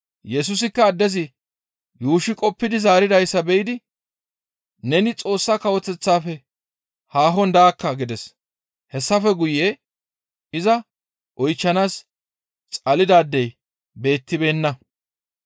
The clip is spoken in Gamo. Yesusikka addezi yuushshi qoppidi zaaridayssa be7idi, «Neni Xoossa Kawoteththafe haahon daakka» gides. Hessafe guye iza oychchanaas xalidaadey beettibeenna.